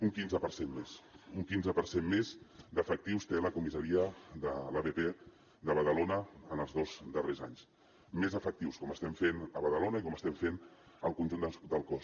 un quinze per cent més un quinze per cent més d’efectius té la comissaria de l’abp de badalona en els dos darrers anys més efectius com estem fent a badalona i com estem fent al conjunt del cos